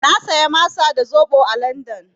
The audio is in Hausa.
Na saya masa da zaɓo a LandN.